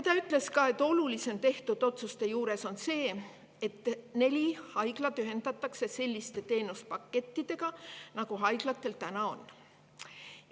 Ta ütles ka, et olulisim tehtud otsuste juures on see, et neli haiglat ühendatakse selliste teenuspakettidega, nagu haiglatel täna on.